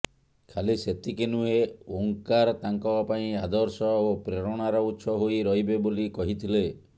ଖାଲି ସେତିକି ନୁହେଁ ଓଁକାର ତାଙ୍କ ପାଇଁ ଆଦର୍ଶ ଓ ପ୍ରେରଣାର ଉତ୍ସ ହୋଇ ରହିବେ ବୋଲି କହିଥିଲେ